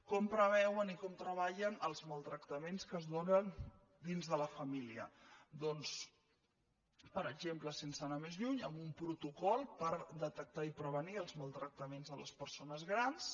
com preveuen i com treballen els maltractaments que es donen dins de la família doncs per exemple sense anar més lluny amb un protocol per detectar i prevenir els maltractaments a les persones grans